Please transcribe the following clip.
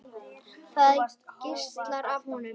Það geislar af honum.